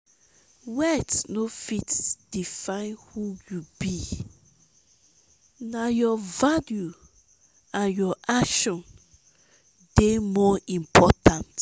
wealth no fit define who you be na your values and actions dey more important.